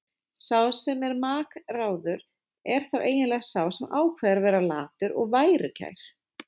Sá sem er makráður er þá eiginlega sá sem ákveður að vera latur og værukær.